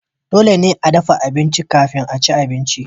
dole ne a dafa abinci kafin a ci abinci